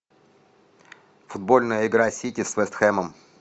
футбольная игра сити с вест хэмом